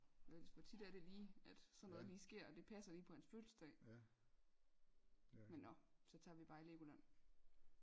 Ellers hvor tit er det lige at sådan noget lige sker og det passer lige på hans fødselsdag men nå så tager vi bare i Legoland